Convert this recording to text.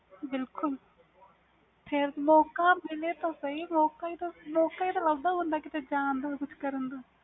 ਬਿਲਕੁਲ ਮੌਕਾ ਮਿਲੇ ਤਾ ਸਹੀ ਮੌਕਾ ਹੀ ਲਬਦਾ ਦਾ ਹੁੰਦਾ ਕੀਤੇ ਜਾਨ ਦਾ ਕੁਛ ਕਰਨ ਦਾ